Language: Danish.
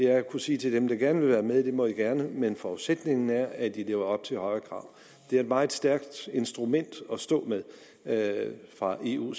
at kunne sige til dem der gerne vil være med det må i gerne men forudsætningen er at i lever op til de høje krav det er et meget stærkt instrument at stå med for eu